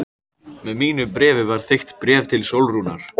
Með mínu bréfi var þykkt bréf til Sólrúnar.